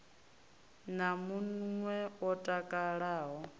na mun we o takalaho